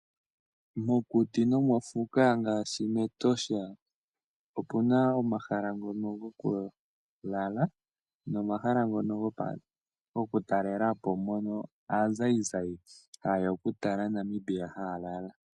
Mokuti nomofuka ngaashi mEtosha omuna omahala ngono goku lala, nomahala ngono gokutalelapo, mono aazayizayi haye ya okutala Namibia, haya lala.